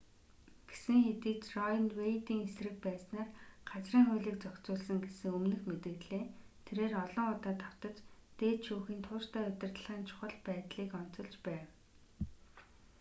гэсэн хэдий ч рое нь вэйдийн эсрэг байснаар газрын хуулийг зохицуулсан гэсэн өмнөх мэдэгдлээ тэрээр олон удаа давтаж дээд шүүхийн тууштай удирдлагын чухал байдлыг онцолж байв